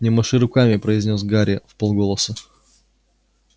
не маши руками произнёс гарри вполголоса